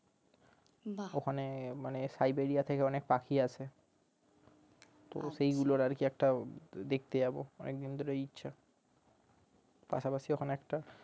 ওখানে মানে Siberia থেকে অনেক পাখি আসে তো সেগুলোর আরকি একটাও দেখতে যাবো অনেক দিন ধরে ইচ্ছে পাশাপাশি ওখানে একটা